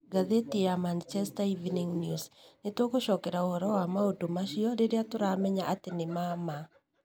(Ngathĩti ya Manchester Evening News) Nĩ tũgũgũcokeria ũhoro wa maũndũ macio rĩrĩa tũramenya atĩ nĩ ma ma.